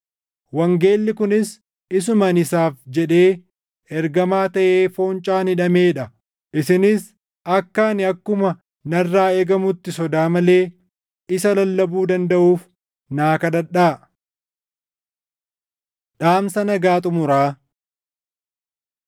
wangeelli kunis isuma ani isaaf jedhee ergamaa taʼee foncaan hidhamee dha. Isinis akka ani akkuma narraa eegamutti sodaa malee isa lallabuu dandaʼuuf naa kadhadhaa. Dhaamsa Nagaa Xumuraa